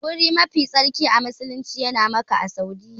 Guri mafi tsarki a musulumci yana Makka a Saudiyya.